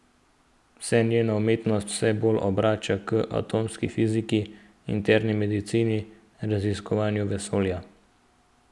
Se njena umetnost vse bolj obrača k atomski fiziki, interni medicini, raziskovanju vesolja?